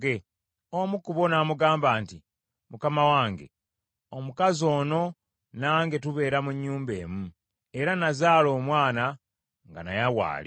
Omu ku bo n’amugamba nti, “Mukama wange, omukazi ono nange tubeera mu nnyumba emu, era nazaala omwana nga naye waali.